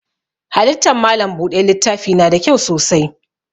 Halittan malam buɗe littafi na da kyau sosai.